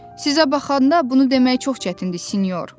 Sizə baxanda bunu demək çox çətindir, sinyor.